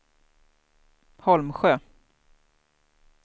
Holmsjö